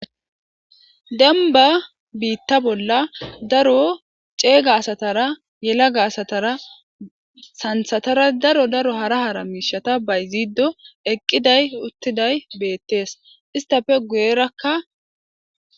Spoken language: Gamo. denba biitta bolla daro ceega asatara yelaga asatara santhatara daro daro hara hara miishata bayziido eqqiday uttiday beettees istafe guyerakka